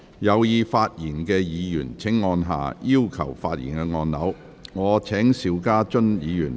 有意發言的議員請按"要求發言"按鈕。